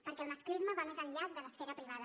perquè el masclisme va més enllà de l’esfera privada